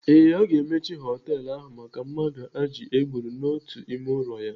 Ee, aga emechi họtelu ahụ maka mmadụ ajị e gburu n'otu ime ụlọ ya.